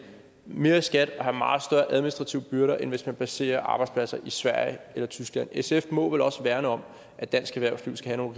mere i skat og have meget større administrative byrder end hvis man placerer arbejdspladser i sverige eller tyskland sf må vel også værne om at dansk erhvervsliv skal have